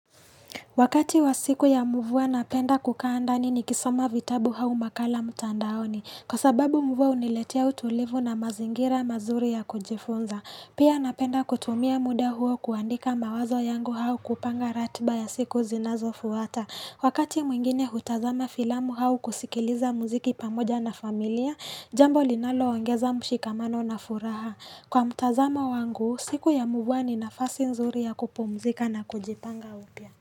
Wakati wa siku ya mvua napenda kukaa ndani nikisoma vitabu au makala mtandaoni kwa sababu mvua uniletea utulivu na mazingira mazuri ya kujifunza pia napenda kutumia muda huo kuandika mawazo yangu au kupanga ratba ya siku zinazofuata wakati mwingine hutazama filamu hau kusikiliza muziki pamoja na familia jambo linalo wangeza mshikamano na furaha kwa mtazama wangu siku ya mvua ninafasi nzuri ya kupomzika na kujipanga upia.